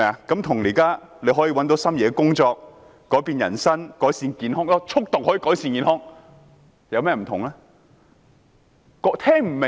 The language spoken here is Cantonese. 跟"大家可以找到心儀的工作"、"改變人生"、"改善健康"——速讀可以改善健康——有何不同？